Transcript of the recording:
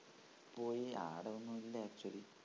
പോയി അവിടെ ഒന്നൂല്ല actually